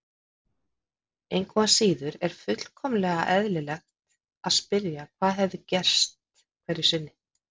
Engu að síður er fullkomlega eðlilegt að spyrja hvað hefði gerst hverju sinni.